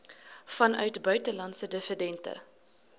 vanuit buitelandse dividende